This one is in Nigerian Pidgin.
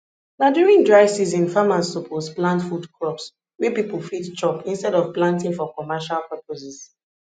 na during dry season farmers suppose plant food crops wey people fit chop instead of planting for commercial purposes